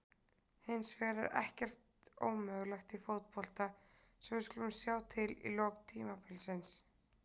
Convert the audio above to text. Hins vegar er ekkert ómögulegt í fótbolta svo við skulum sjá til í lok tímabilsins.